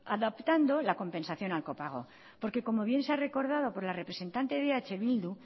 adaptando la compensación al copago porque como bien se ha recordado por la representante de eh bildu